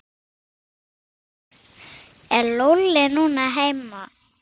Er Lúlli heima núna?